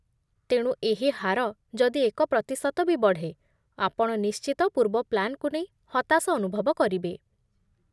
ତେଣୁ, ଏହି ହାର ଯଦି ଏକ ପ୍ରତିଶତ ବି ବଢ଼େ, ଆପଣ ନିଶ୍ଚିତ ପୂର୍ବ ପ୍ଲାନ୍‌କୁ ନେଇ ହତାଶ ଅନୁଭବ କରିବେ ।